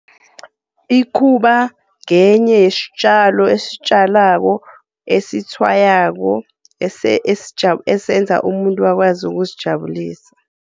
Ikhuba ngenye yestjalo estjalwako, esitshwayako esenza umuntu akwazi ukuzijabulisa.